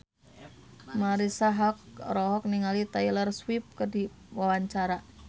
Marisa Haque olohok ningali Taylor Swift keur diwawancara